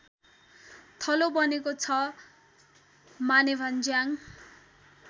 थलो बनेको छ मानेभन्ज्याङ